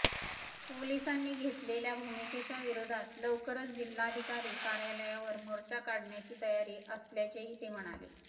पोलिसांनी घेतलेल्या भूमिकेच्या विरोधात लवकरच जिल्हाधिकारी कार्यालयावर मोर्चा काढण्याची तयारी असल्याचेही ते म्हणाले